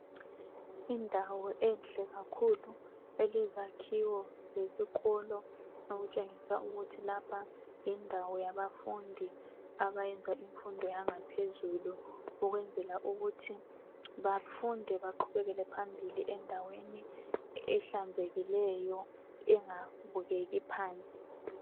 Indawo enhle kakhulu elezakhiwo zesikolo okutshengisa ukuthi lapha yindawo yabafundi abayenza imfundo yangaphezulu ukwenzela ukuthi bafunde baqhubekele phambili endaweni ehlanzekileyo engabukeki phansi